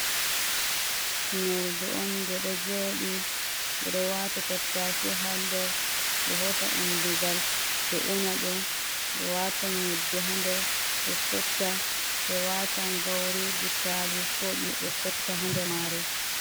Unordu on nde ɗo joɗi ɓeɗo wata tattashe ha nder ɗo hosa undugal ɓe una ɗum, ɓe wata yebbe ha nder ɓe sotta, ɓe watan gauri, butali koɗume ɓe sotta ha nder mare.